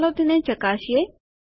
ચાલો તેને ચકાસીએ